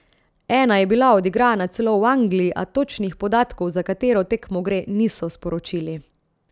Ena je bila odigrana celo v Angliji, a točnih podatkov, za katero tekmo gre, niso sporočili.